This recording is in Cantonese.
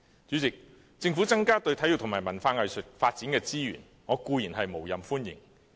主席，政府增加對體育和文化藝術發展的資源，我固然無任歡迎。